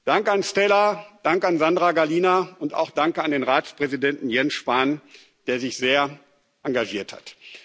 Danke an Stella Kyriakides, danke an Sandra Gallina und auch danke an den Ratspräsidenten Jens Spahn, der sich sehr engagiert hat.